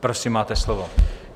Prosím, máte slovo.